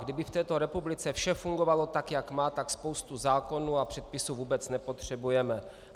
Kdyby v této republice vše fungovalo tak, jak má, tak spoustu zákonů a předpisů vůbec nepotřebujeme.